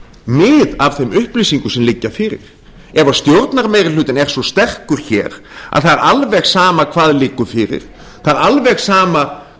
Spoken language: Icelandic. mið af þeim upplýsingum sem liggja fyrir ef stjórnarmeirihlutinn er svo sterkur hér að það er alveg sama hvað liggur fyrir það er alveg sama